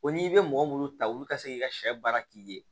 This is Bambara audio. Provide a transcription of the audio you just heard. O n'i bɛ mɔgɔ minnu ta olu ka se k'i ka sɛ baara k'i ye